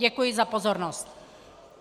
Děkuji za pozornost.